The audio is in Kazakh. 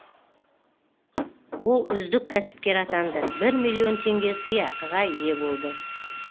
ол үздік кәсіпкер атанды бір миллион теңге сыйақыға ие болды